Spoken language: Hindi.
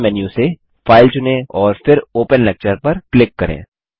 मुख्य मेन्यू से फाइल चुनें और फिर ओपन लेक्चर पर क्लिक करें